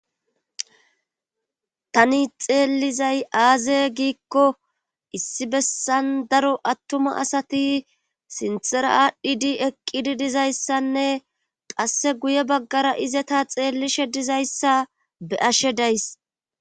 Tani xeellizay aaze giiko issi bessan daro attuma asati sinthera aadhidi eqqidi dizeyssanne qasse guye baggaara izeta xeellishe dizayssa be7ashe days.